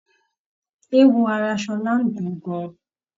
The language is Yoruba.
Eéwo ara Ṣọlá ń dùn ún gan-an.